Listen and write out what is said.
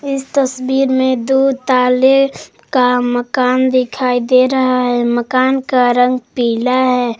इस तस्वीर में दो ताले का मकान दिखाई दे रहा है मकान का रंग पीला है।